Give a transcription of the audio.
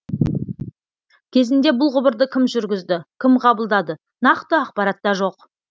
кезінде бұл құбырды кім жүргізді кім қабылдады нақты ақпарат та жоқ